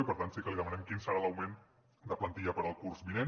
i per tant sí que li demanem quin serà l’augment de plantilla per al curs vinent